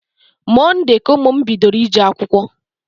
Monde ka ụmụ m bidoro ije akwụkwọ